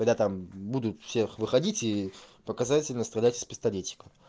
когда там будут всех выходите и показательно стрелять из пистолета